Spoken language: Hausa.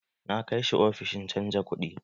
Na kai shi ofishin canja kuɗi